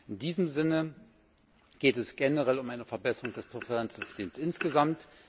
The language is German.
In diesem Sinne geht es generell um eine Verbesserung des Präferenzsystems insgesamt.